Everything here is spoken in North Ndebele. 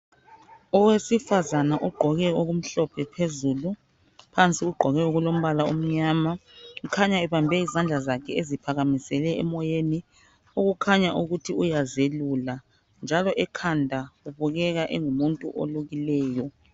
Owesifazana ogqoke okumhlophe phezulu phansi ugqoke okulombala omnyama, ukhanya ebambe izandla zakhe eziphakamisele emoyeni, okukhanya ukuthi uyazelula njalo ekhanda ubukeka engumuntu olukileyo.